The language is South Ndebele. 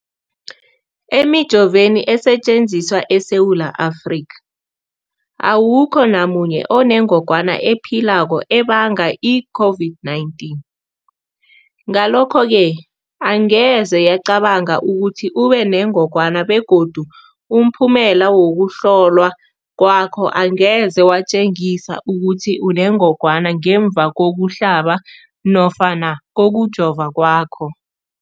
Emijoveni esetjenziswa eSewula Afrika, awukho namunye onengog wana ephilako ebanga i-COVID-19. Ngalokho-ke angeze yabanga ukuthi ubenengogwana begodu umphumela wokuhlolwan kwakho angeze watjengisa ukuthi unengogwana ngemva kokuhlaba nofana kokujova kwakho.